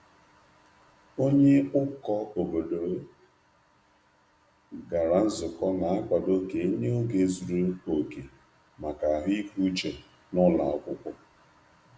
Onye ụkọ obodo gara nzukọ na-akwado ka e nye ego zuru oke maka ahụike uche n’ụlọ akwụkwọ.